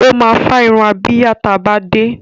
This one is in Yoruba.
Ó máa fá irun abíyá ta bá dé.